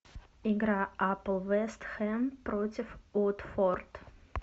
игра апл вест хэм против уотфорд